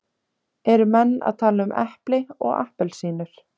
Eru menn að tala um epli og appelsínur?